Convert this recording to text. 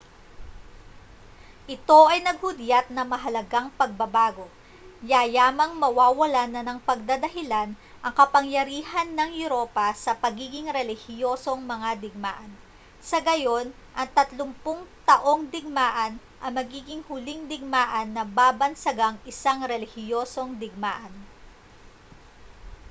ito ay naghudyat ng mahalagang pagbabago yayamang mawawalan na ng pagdadahilan ang kapangyarihan ng europa sa pagiging relihiyosong mga digmaan sa gayon ang tatlumpung taong digmaan ang magiging huling digmaan na babansagang isang relihiyosong digmaan